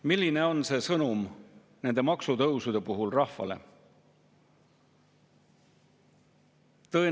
Milline on sõnum nende maksutõusude puhul rahvale?